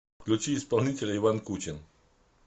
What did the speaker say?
включи исполнителя иван кучин